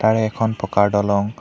আৰু এখন পকাৰ দলং --